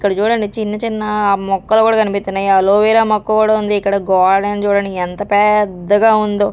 ఇక్కడ చూడండి చిన్న చిన్న మొక్కలు గూడా కనిపిత్తన్నాయ్ అలోవెరా మొక్క గూడా ఉంది ఇక్కడ గోడని చూడండి ఎంత పెద్దగా ఉందో.